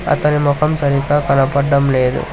అతని మొఖం సరిగ్గా కనపడ్డం లేదు.